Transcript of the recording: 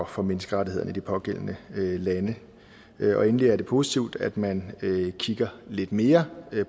for menneskerettighederne i de pågældende lande endelig er det positivt at man kigger lidt mere